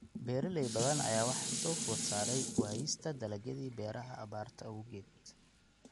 Beeraley badan ayaa waxaa soo food saartay waayista dalagyadii beeraha abaarta awgeed.